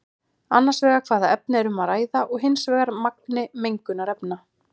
Annars vegar hvaða efni er um að ræða og hins vegar magni mengunarefna.